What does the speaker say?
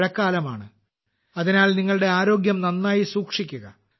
മഴക്കാലമാണ് അതിനാൽ നിങ്ങളുടെ ആരോഗ്യം നന്നായി സൂക്ഷിക്കുക